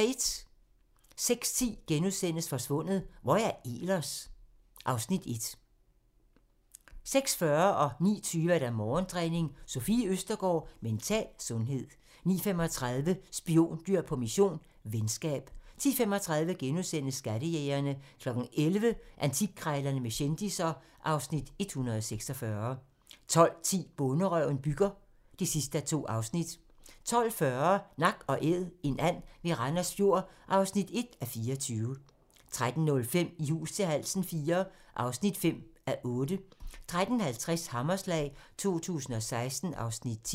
06:10: Forsvundet - Hvor er Ehlers? (Afs. 1)* 06:40: Morgentræning: Sofie Østergaard -mental sundhed 09:20: Morgentræning: Sofie Østergaard -mental sundhed 09:35: Spiondyr på mission - venskab 10:35: Skattejægerne * 11:00: Antikkrejlerne med kendisser (Afs. 146) 12:10: Bonderøven bygger (2:2) 12:40: Nak & Æd – en and ved Randers Fjord (1:24) 13:05: I hus til halsen IV (5:8) 13:50: Hammerslag 2016 (Afs. 10)